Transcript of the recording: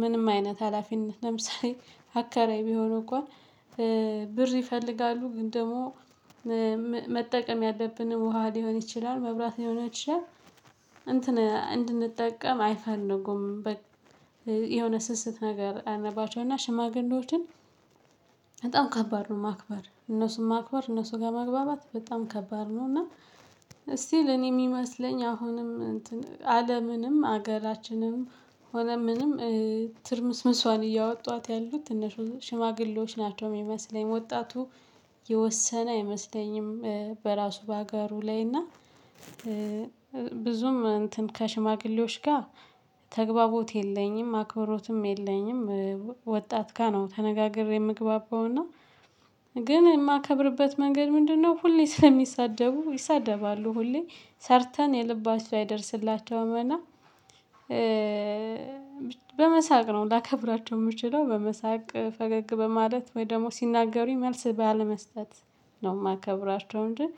ምንም አይነት ሀላፊነት ለምሳሌ አከራይ ቢሆን እኮ ብር ይፈልጋሉ። ግን ደግሞ መጠቀም ያለብንም ውሃ ሊሆን ይችላል መብራት ሊሆን ይችላል። እንትን እንድንጠቀም አይፈልጉም። የሆነ ስስት ነገር አለባቸው። እና ሽማግሌዎችን በጣም ከባድ ነው ማክበር እነሱን ማክበር እነሱ ጋር መግባባት በጣም ከባድ ነው። እና ስቲል እኔ የሚመስለኝ አሁንም እንትን አለምንም ሀገራችንም ሆነ ምንም ትርምስምሷን እያወጧት ያሉት ሽማግሌዎች ናቸው የሚመስለኝ። ወጣቱ የወሰነ አይመስለኝም። በራሱ በሀገሩ ላይ እና ብዙም እንትን ከሽማግሌዎች ጋር ተግባቦት የለኝም አክብሮትም የለኝም። ወጣት ጋር ነው ተነጋግሬ የምግባበው። እና ግን የማከብርበት መንገድ ምንድነው? ሁሌ ስለሚሳደቡ ይሳደባሉ ሁሌ ሰርተን የልባችሁ አይደርስላቸውም እና በመሳቅ ነው ላከብራቸው የምችለው በመሳቅ ፈገግ በማለት ወይ ደግሞ ሲናገሩኝ መልስ ባለመስጠት ነው የማከብራቸው። እንጂ